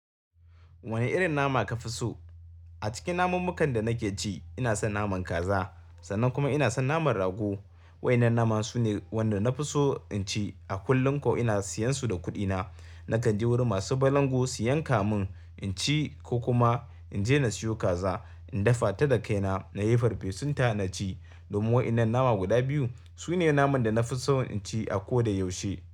Wane irin nama kafi so? A cikin namun makan da nake ci, ina son naman kaza sannan kuma ina son naman rago. Wa'innan nama sune wanda na fi so in ci. A kullum koh ina siyan su da kuɗina. Nakan je wurin masu balangu su yanka mun in ci ko kuma in je na siyo kaza, in dafa ta da kai na, nayi farfesun ta na ci. Domin wa'innan nama guda biyu sune naman da na fi so in ci a ko da yaushe.